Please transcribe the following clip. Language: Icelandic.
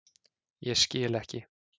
Ég skil ekki.